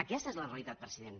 aquesta és la realitat president